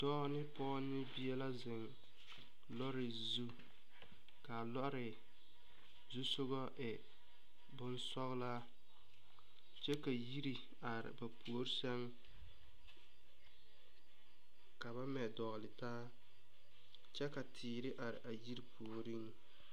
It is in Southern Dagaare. Dɔɔ ne pɔgɔ ne bie la zeŋ lɔre zu. Ka a lɔre zusɔgɔ e boŋ sɔgɔla kyɛ ka yire are ba poore sɛŋ. Ka ba mɛ doole taa. Kyɛ ka teere are a yire pooreŋ.